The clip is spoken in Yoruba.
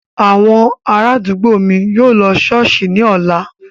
Àwọn ará àdúgbò mi yóò lọ ṣọ́ọ̀ṣì ní ọ̀la